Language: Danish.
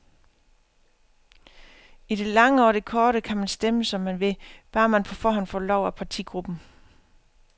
I det lange og det korte kan man stemme som man vil bare man på forhånd får lov af partigruppen.